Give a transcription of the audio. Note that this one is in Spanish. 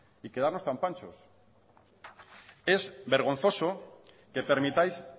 y quedarnos tan panchos es vergonzoso que permitáis